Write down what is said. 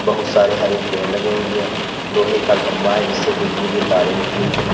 बहुत सारे हरे पेड़ लगे हुए हैं लोहे का खंबा जिससे बिजली के तारे निकली है।